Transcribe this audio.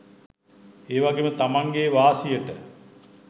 ඒ වගේම තමන්ගේ වාසියට